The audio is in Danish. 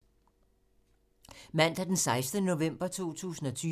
Mandag d. 16. november 2020